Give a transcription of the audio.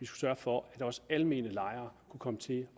sørge for at også almene lejere kunne komme til